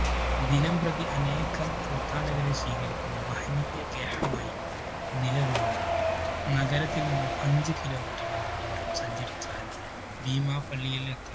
ദിനം പ്രതി അനേകം തീര്‍ഥാടകരെ സ്വീകരിക്കുന്ന മഹനീയ ഗ്രഹമായി നിലകൊള്ളുന്നു. നഗരത്തില്‍ നിന്നും അഞ്ചു kilometer ഓളം ദൂരം സഞ്ചരിച്ചാല്‍ ഭീമാപള്ളിയിലെത്താം.